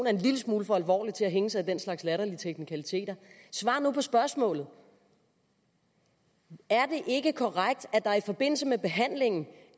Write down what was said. er en lille smule for alvorlig til at hænge sig i den slags latterlige teknikaliteter svar nu på spørgsmålet er det ikke korrekt at det i forbindelse med behandlingen